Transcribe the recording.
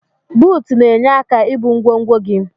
Buut na enye aka ibu ngwogwo gi.